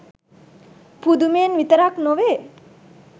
පුදුමයෙන් විතරක් නොවේ.